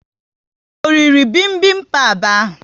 O riri bibimbap ahu?